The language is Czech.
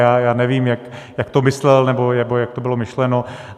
Já nevím, jak to myslel nebo jak to bylo myšleno.